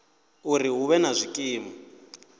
uri hu vhe na zwikimu